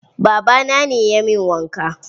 Baba na ne ya min wanka.